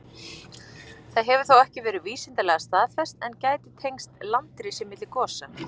Það hefur þó ekki verið vísindalega staðfest, en gæti tengst landrisi milli gosa.